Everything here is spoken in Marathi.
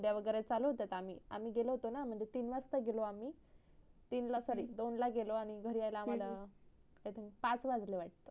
डिंडया चालू होत्या का आम्ही गेलो होतो न आम्ही तीन वाजता गेलो आम्ही तीन ला sorry दोन ला गेलो आणि घरी याला आम्हाला पाच वाजले वाटत